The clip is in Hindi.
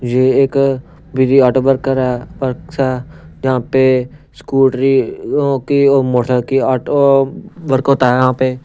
ये एक बिजी ऑटो वर्कर है वर्क्स है यहां पे स्कूटरी की और मोटर की ऑटो वर्क होता है यहां पे।